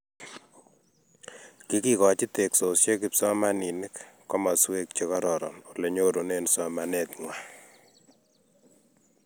Kikokochi teksosiet kipsomaninik komaswek che kororon ole nyorune somanet ngwai